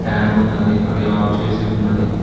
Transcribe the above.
Fan ఉన్నది అది off చేసి ఉన్నది.